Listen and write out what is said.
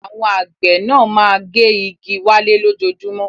Àwọn àgbẹ̀ náà máa ń gé igi wálẹ̀ lójoojúmọ́.